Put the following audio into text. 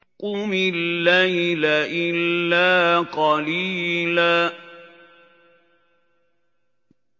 قُمِ اللَّيْلَ إِلَّا قَلِيلًا